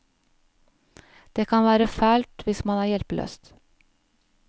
Det kan være fælt hvis man er hjelpeløs.